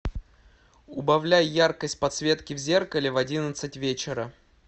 убавляй яркость подсветки в зеркале в одиннадцать вечера